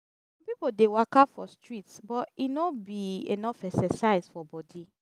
some pipo dey waka for street but e no be enough exercise for body.